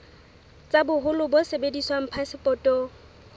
tsa boholo bo sebediswang phasepotong